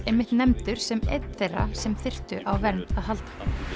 einmitt nefndur sem einn þeirra sem þyrftu á vernd að halda